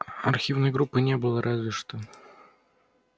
архивной группы не было разве что